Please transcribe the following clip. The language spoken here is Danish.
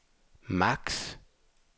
maks